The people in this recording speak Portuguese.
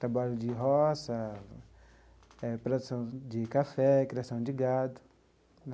Trabalho de roça, eh produção de café, criação de gado.